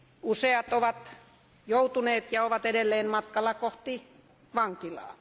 Useat ovat joutuneet ja ovat edelleen matkalla kohti vankilaa.